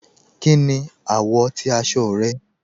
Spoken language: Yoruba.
Kíni awọ̀ ti aṣọ rẹ̀?